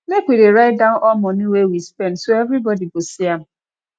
make we dey write down all money wey we spend so everybody go see am